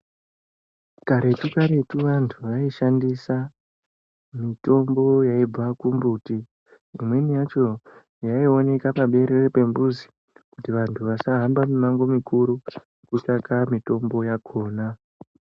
Karetu karetu vantu vaishandisa mitombo Yaibva kumbuti. Imweni yacho yaionekwa paberere pemphuzi kuti vantu vasahamba mimango mikuru kutsvaka mitombo yakhona.